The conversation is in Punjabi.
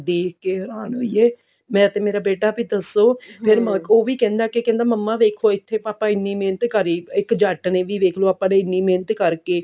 ਦੇਖ ਕੇ ਹੇਰਾਨ ਹੋਈਏ ਮੈਂ ਤੇ ਮਰਾ ਬੇਟਾ ਵੀ ਦੱਸੋ ਉਹ ਵੀ ਕਹਿੰਦਾ ਕਿ ਕਹਿੰਦਾ ਮੰਮਾ ਵੇਖੋ ਪਾਪਾ ਇੱਥੇ ਇੰਨੀ ਮਿਹਨਤ ਕਰੀ ਇੱਕ ਜੱਟ ਨੇ ਵੀ ਵੇਖ੍ਲੋ ਆਪਾਂ ਨੇ ਇੰਨੀ ਮਿਹਨਤ ਕਰਕੇ